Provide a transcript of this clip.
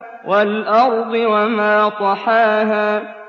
وَالْأَرْضِ وَمَا طَحَاهَا